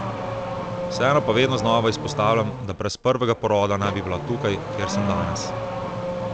Vseeno pa vedno znova izpostavljam, da brez prvega poroda ne bi bila tukaj, kjer sem danes.